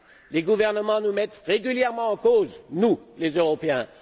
Les gouvernements nous mettent régulièrement en cause, nous, les Européens.